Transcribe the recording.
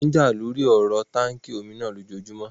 Wọ́n n jà lóri ọ̀rọ táànkì omi náà lójojúmọ́